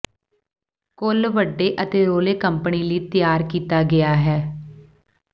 ਕੁੱਲ ਵੱਡੇ ਅਤੇ ਰੌਲੇ ਕੰਪਨੀ ਲਈ ਤਿਆਰ ਕੀਤਾ ਗਿਆ ਹੈ